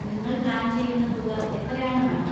നിങ്ങൾ പ്ലാൻ ചെയ്യുന്ന തുക എത്രയാണ്, മാഡം?